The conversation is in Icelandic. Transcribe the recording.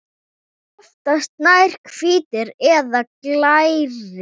Oftast nær hvítir eða glærir.